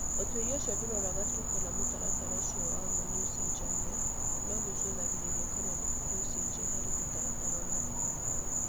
Ũtuĩria ũcio ndũroraga tu kana mũtaratara ũcio wa ma nĩ ũcenjagia, no nĩ ũcũthagĩrĩria kana nĩ kũrĩ ũcenjia harĩ mũtaratara ũrĩa ũhũthĩkaga.